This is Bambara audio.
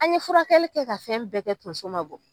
An ye furakɛli kɛ ka fɛn bɛɛ kɛ tonso ma ma bɔ